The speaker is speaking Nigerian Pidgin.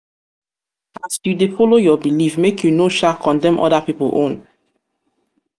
as yu dey follow yur belief make yu no sha condemn oda pipol own